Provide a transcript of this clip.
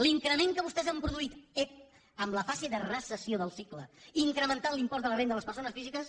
l’increment que vostès han produït ep en la fase de recessió del cicle incrementant l’impost de la renda de les persones físiques